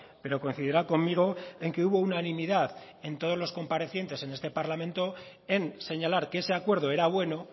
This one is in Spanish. pero coincidirá conmigo en que hubo unanimidad en todos los comparecientes en este parlamento en señalar que ese acuerdo era bueno